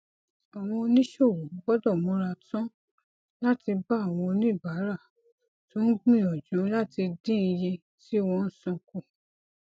àwọn oníṣòwò gbódò múra tán láti bá àwọn oníbàárà tó ń gbìyànjú láti dín iye tí wón ń san kù